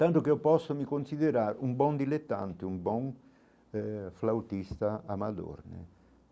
Tanto que eu posso me considerar um bom diletante, um bom eh flautista amador né.